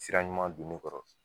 Sira ɲuman don ne kɔrɔ